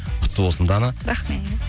құтты болсын дана рахмет